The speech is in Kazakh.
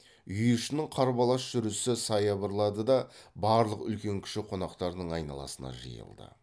үй ішінің қарбалас жүрісі саябырлады да барлық үлкен кіші қонақтардың айналасына жиылды